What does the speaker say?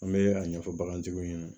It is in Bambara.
An bɛ a ɲɛfɔ bagantigiw ɲɛna